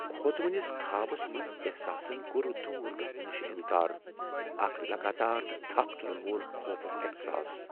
كھوژونِس خابس احساسن كو٘ر دوُر گژھنہٕ نِش انكار ، اكھ لگاتار نہٕ تھپھ تُلن وول خوفُك احساس ۔